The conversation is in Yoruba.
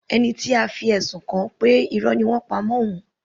Ẹni tí a fi ẹ̀sùn kàn ṣọ pé Irọ́ ni wọ́n ń pa mọ́ òun.